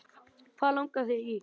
Hvað langar þig í!